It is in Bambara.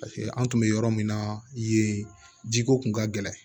Paseke an tun bɛ yɔrɔ min na yen jiko tun ka gɛlɛn